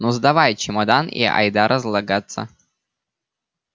ну сдавай чемодан и айда разлагаться